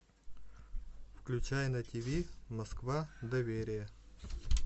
включай на ти ви москва доверие